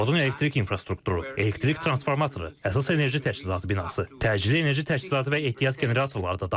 Zavodun elektrik infrastrukturu, elektrik transformatoru, əsas enerji təchizatı binası, təcili enerji təchizatı və ehtiyat generatorları da dağıdılıb.